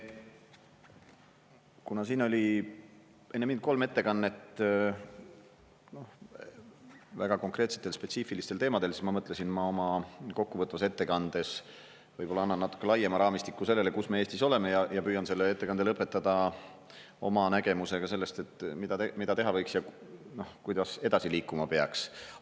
Kuna siin oli enne mind kolm ettekannet väga konkreetsetel, spetsiifilistel teemadel, siis ma mõtlesin, ma oma kokkuvõtvas ettekandes võib-olla annan natuke laiema raamistiku sellele, kus me Eestis oleme, ja püüan selle ettekande lõpetada oma nägemusega sellest, et mida teha võiks ja kuidas edasi liikuma peaks.